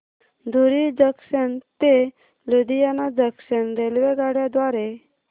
धुरी junction ते Ludhiana junction रेल्वेगाड्यां द्वारे